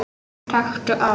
Taktu á!